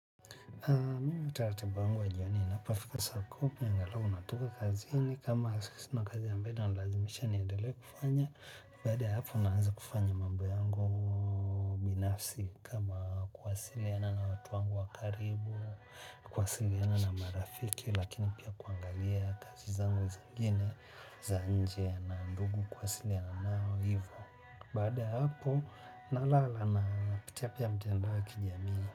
Mimi utaratibu wangu wa jioni inapofila saa kumi na roho angalau natoka kazini kama sina kazi ambayo inalazimisha niendelee kufanya. Baada ya hapo naanza kufanya mambo yangu binafsi kama kuwasiliana na watu wangu wa karibu, kuwasiliana na marafiki lakini pia kuangalia kazi zangu zingine za nje na ndugu kuwasiliana nao hivyo. Baada ya hapo nalala napitia pia mitandao ya kijamii.